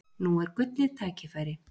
Nú er gullið tækifæri!